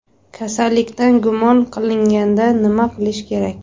Kasallikdan gumon qilinganda nima qilish kerak?